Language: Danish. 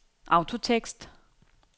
autotekst